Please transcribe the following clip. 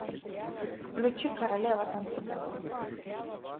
включи королева танцпола